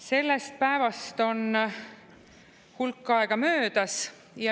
Sellest päevast on hulk aega möödas.